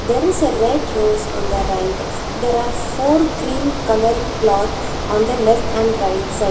There is a red rose on the right there are four green colour cloth on the left and right side.